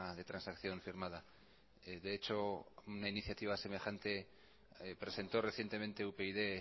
de transacción firmada de hecho una iniciativa semejante presentó recientemente upyd